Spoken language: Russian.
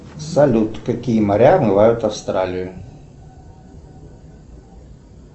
салют какие моря омывают австралию